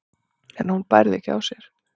en hún bærði ekki á sér.